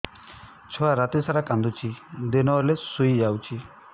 ଛୁଆ ରାତି ସାରା କାନ୍ଦୁଚି ଦିନ ହେଲେ ଶୁଇଯାଉଛି